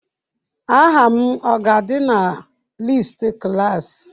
Aha m ọ ga-adị na listi klaasị?